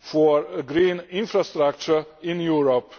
for green infrastructure in Europe